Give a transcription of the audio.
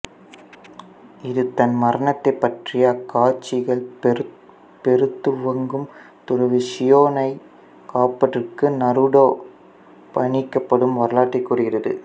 இது தன் மரணத்தைப் பற்றிய அகக்காட்சிகள் பெறத்துவங்கும் துறவி ஷியோனைக் காப்பதற்கு நருடோ பணிக்கப்படும் வரலாற்றைக் கூறுகிறது